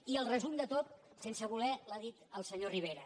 i el resum de tot sense voler l’ha dit el senyor rive·ra